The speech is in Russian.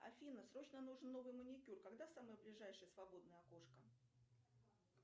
афина срочно нужен новый маникюр когда самое ближайшее свободное окошко